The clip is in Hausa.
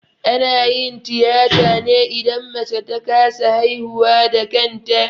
Ana yin tiyata ne idan mace ta kasa haihuwa da kanta